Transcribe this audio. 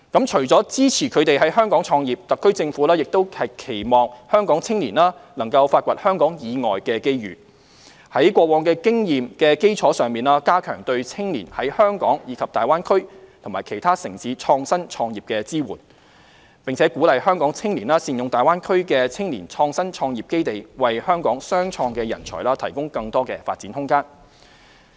除了支持他們在香港創業，特區政府亦期望香港青年能發掘香港以外的機遇，在過往經驗的基礎上，加強對青年在香港及大灣區其他城市創新創業的支援，並鼓勵香港青年善用大灣區的青年創新創業基地，為香港雙創人才提供更多發展空間。